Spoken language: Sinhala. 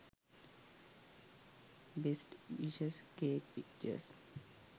best wishes cake pictures